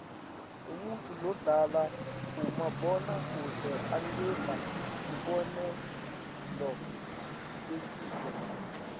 umuntfu lodlala kumabona kudze angaba sibonelo lesihle